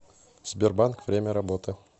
сбербанк время работы